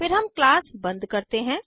फिर हम क्लास बंद करते हैं